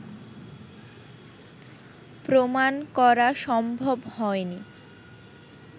প্রমাণ করা সম্ভব হয়নি